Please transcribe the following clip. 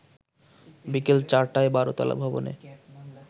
বিকেল ৪টায় ১২তলা ভবনে